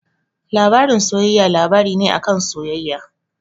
Labarin soyayya labari ne a kan soyayya.